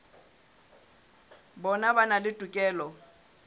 bona ba na le tokelo